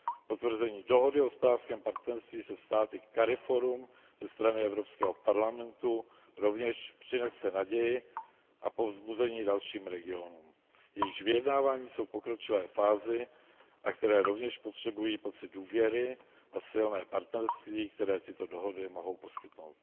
Potvrzení dohody o hospodářském partnerství se státy CARIFORUM ze strany Evropského parlamentu rovněž přinese naději a povzbuzení dalším regionům, jejichž vyjednávání jsou v pokročilé fázi a které rovněž potřebují pocit důvěry a silné partnerství, které tyto dohody mohou poskytnout.